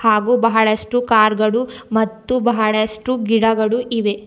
ಹಾಗು ಬಹಳಷ್ಟು ಕಾರ್ ಗಳು ಮತ್ತು ಬಹಡಷ್ಟು ಗಿಡಗಳು ಇವೆ.